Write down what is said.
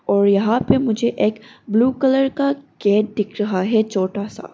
और यहां पे मुझे एक ब्लू कलर का गेट दिख रहा है छोटा सा।